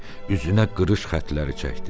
Üzünə qırış xətləri çəkdi.